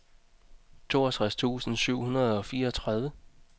toogtres tusind syv hundrede og fireogtredive